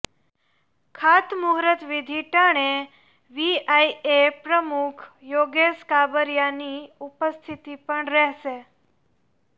ખાતમુહૂર્તવિધિ ટાણે વીઆઇએ પ્રમુખ યોગેશ કાબરિયાની ઉપસ્થિતિ પણ રહેશે